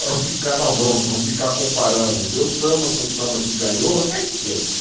Para não ficar na bronca, não ficar comparando o meu samba com o samba que ganhou, eu até esqueço.